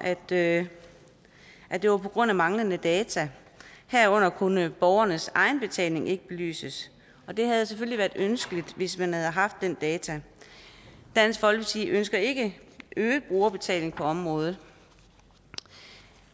at det at det var på grund af manglende data herunder kunne borgernes egenbetaling ikke belyses og det havde selvfølgelig været ønskeligt hvis man havde haft de data dansk folkeparti ønsker ikke øget brugerbetaling på området